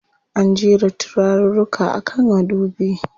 An jera turaruka a kan madubi.